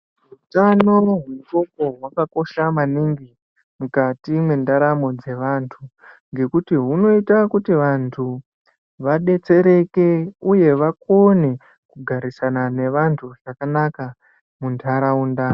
Utano hwendxondo hwakakosha maningi mukati mwendaramo dzevantu ngekuti hunoita kuti vantu vadetsereke uye vakone kugarisana nevantu zvakanaka muntaraunda.